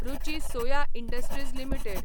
Ruchi soya industries limited